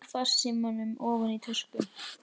Ég sting farsímanum ofan í tösku.